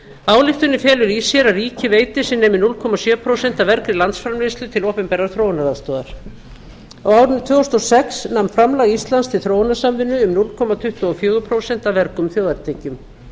ályktunin felur í sér að ríki veiti sem nemi núll komma sjö prósent af vergri landsframleiðslu til opinberrar þróunaraðstoðar á árinu tvö þúsund og sex nam framlag íslands til þróunarsamvinnu um núll komma tuttugu og fjögur prósent af vergum þjóðartekjum